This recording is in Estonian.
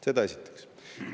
Seda esiteks.